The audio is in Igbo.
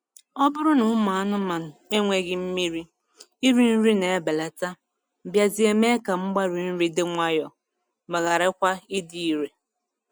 Ọ bụrụ na ụmụ anụmanụ enweghị mmiri, iri nri na-ebelata bịazịa mee ka mgbari nri dị nwayọọ ma ghara kwa ịdị irè.